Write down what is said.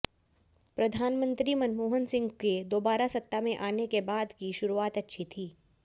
प्रधानमंत्री मनमोहन सिंह के दोबारा सत्ता में आने के बाद की शुरुआत अच्छी थी